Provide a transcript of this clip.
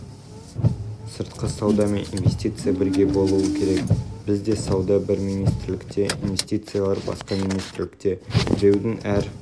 кешеотандық кәсіпкерлердің төл мерекесі индустрияландыру күніне орай ұйымдастырылғанжалпыұлттық телекөпір барысында президенті нұрсұлтан назарбаев сауданы еліміздің сыртқы істер министрлігіне